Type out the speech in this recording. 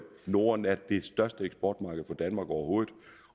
norden er det største eksportmarked for danmark overhovedet